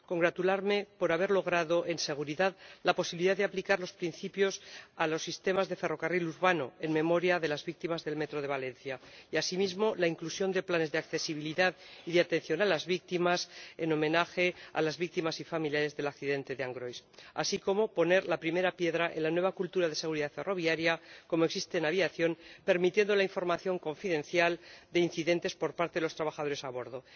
Me congratulo igualmente de que se haya logrado, en materia de seguridad, la posibilidad de aplicar los principios a los sistemas de ferrocarril urbano, en memoria de las víctimas del metro de Valencia y, asimismo, la inclusión de planes de accesibilidad y de atención a las víctimas, en homenaje a las víctimas y familiares del accidente de Angrois, así como de que se haya puesto la primera piedra en la nueva cultura de seguridad ferroviaria, como existe en aviación, al permitir la comunicación confidencial de incidentes por parte de los trabajadores a bordo.